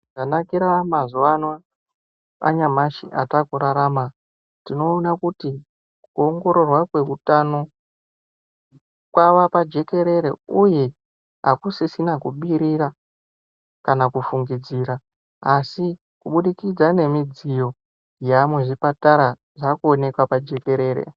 Zvanakira mazuva ano anyamashi atakurarama tinoona kuti kuongororwa kweutano kwava pajekerere uye hapasisina kubirira kana kufungidzira asi kubudikitsa nemidziyi yaamuzvipatara zvakuoneka pajekerere.